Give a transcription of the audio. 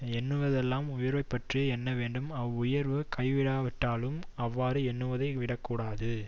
எண்ணுவதெல்லாம் உயர்வைப்பற்றியே எண்ண வேண்டும் அவ் வுயர்வுக் கைகூடாவிட்டாலும் அவ்வாறு எண்ணுவதை விடக்கூடாது